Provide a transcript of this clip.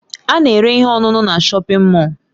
A na-ere ihe ọṅụṅụ na Shọpin Mọll.